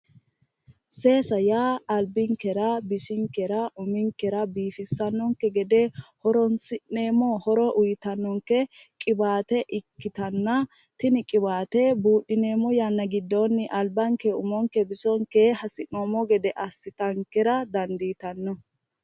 seesa yaa albinkera bisinkera uminkera biifissannonke gede horonsi'nemmo horo uyiitannonke qiwaate ikkitanna tini qiwaate buudhineemmo yanna giddoonni albanke bisonke umonke hasi'noommo gede assitankera dandiitanno